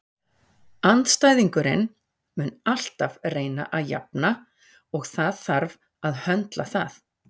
Andstæðingurinn mun alltaf reyna að jafna og það þarf að höndla það.